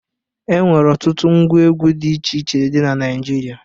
E nwere ọtụtụ ngwa egwu dị iche iche dị na Naịjirịa.